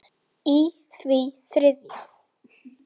í því þriðja.